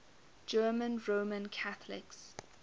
german roman catholics